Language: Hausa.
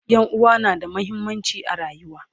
ƴan'uwa na da muhimmanci a rayuwa